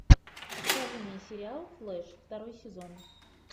покажи мне сериал флэш второй сезон